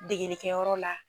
Degenikɛ yɔrɔ la.